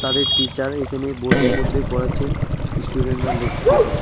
তাদের টিচার এখানে বোর্ডের মধ্যে করাচ্ছেন ইস্টুডেন্টরা লেখতেছেন।